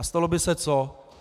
A stalo by se co?